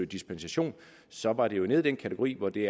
dispensation så var det jo nede i en kategori hvor det